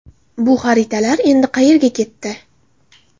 Bu xaritalar endi qayerga ketdi?